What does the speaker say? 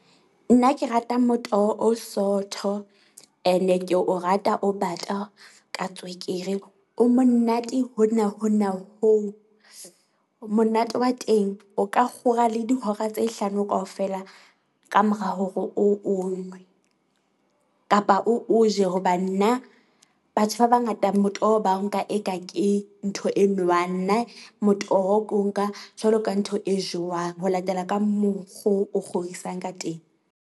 Nna ke rata motoho o sootho, ene ke o rata o bata ka tswekere o monate hona hona hoo. Monate wa teng o ka kgora le dihora tse hlano kaofela, kamora hore o o nwe, kapa o o je hoba nna, batho ba bangata motoho ba nka eka ke ntho e nowang. Nna motoho, ke o nka jwalo ka ntho e jowang ho latela ka mokgo o kgodisang ka teng.